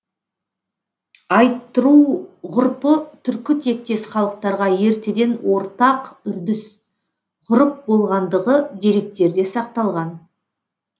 айттыру ғұрпы түркі тектес халықтарға ертеден ортақ үрдіс ғұрып болғандығы деректерде сақталған